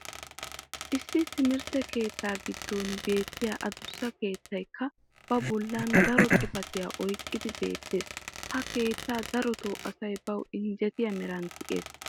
issi timirtte keettaa giddon beetiya adussa keettaykka ba boli daro xifatiyaa oyqqidi beetees. ha keettaa darotoo asay bawu injjetiya meran tiyees.